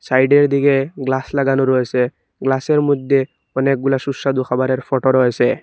সাইডের দিকে গ্লাস লাগানো রয়েসে গ্লাসের মইদ্যে অনেকগুলা সুস্বাদু খাবারের ফটো রয়েসে।